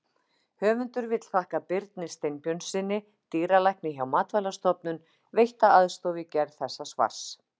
Höfundur vill þakka Birni Steinbjörnssyni, dýralækni hjá Matvælastofnun, veitta aðstoð við gerð þessa svars.